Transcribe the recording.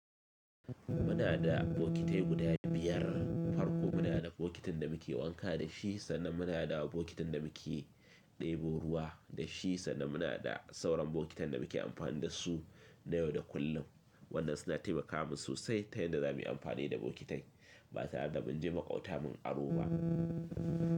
Muna da bokitai guda biyar, farko muna da bokitin da muke wanka da shi, sannan muna da bokitin da muke ɗebo ruwa da shi, sannan muna da sauran bokitan da muke amfani da su na yau da kullum, waɗanda suna taimaka min sosai ta yanda za mu yi amfani da bokitai ba tare da mun je maƙwabta mun aro ba.